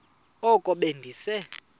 oko be ndise